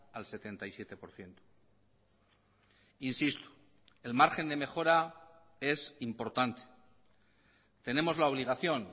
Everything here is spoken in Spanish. al setenta y siete por ciento insisto el margen de mejora es importante tenemos la obligación